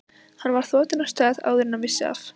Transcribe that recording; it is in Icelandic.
Hann var þotinn af stað áður en hann vissi af.